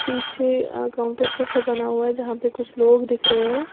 पीछे अह काउंटर जैसा बना हुआ है यहां पे कुछ लोग दिख रहे हैं।